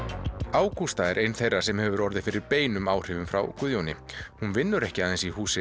Ágústa er ein þeirra sem hefur orðið fyrir áhrifum frá Guðjóni hún vinnur ekki aðeins í húsi